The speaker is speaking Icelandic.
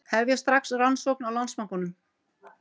Hefja strax rannsókn á Landsbankanum